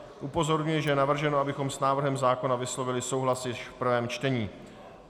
Upozorňuji, že je navrženo, abychom s návrhem zákona vyslovili souhlas již v prvém čtení.